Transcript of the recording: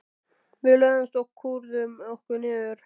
Við lögðumst og kúrðum okkur niður.